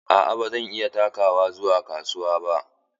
Aa ba zan iya takawa zuwa kasuwa ba.